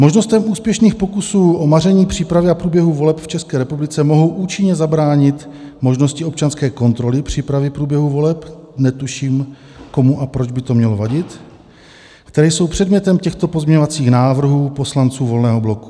Možnostem úspěšných pokusů o maření přípravy a průběhu voleb v České republice mohou účinně zabránit možnosti občanské kontroly přípravy průběhu voleb -" netuším, komu a proč by to mělo vadit - "které jsou předmětem těchto pozměňovacích návrhů poslanců Volného bloku.